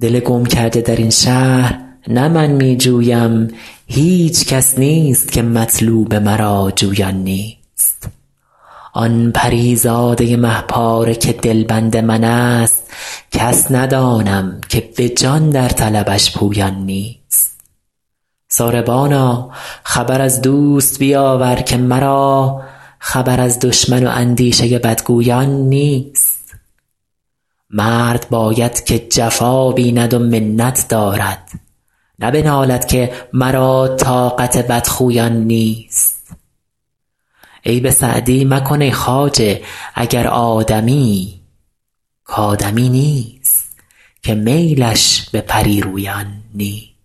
دل گم کرده در این شهر نه من می جویم هیچ کس نیست که مطلوب مرا جویان نیست آن پری زاده مه پاره که دلبند من ست کس ندانم که به جان در طلبش پویان نیست ساربانا خبر از دوست بیاور که مرا خبر از دشمن و اندیشه بدگویان نیست مرد باید که جفا بیند و منت دارد نه بنالد که مرا طاقت بدخویان نیست عیب سعدی مکن ای خواجه اگر آدمیی کآدمی نیست که میلش به پری رویان نیست